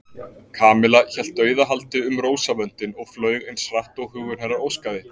Kamilla hélt dauðahaldi um rósavöndinn og flaug eins hratt og hugur hennar óskaði.